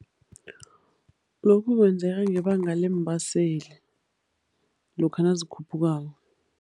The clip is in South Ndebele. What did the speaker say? Lokhu kwenzeka ngebanga leembaseli, lokha nazikhuphukako.